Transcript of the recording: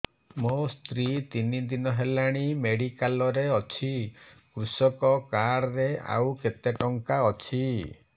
ମୋ ସ୍ତ୍ରୀ ତିନି ଦିନ ହେଲାଣି ମେଡିକାଲ ରେ ଅଛି କୃଷକ କାର୍ଡ ରେ ଆଉ କେତେ ଟଙ୍କା ଅଛି